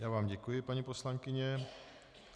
Já vám děkuji, paní poslankyně.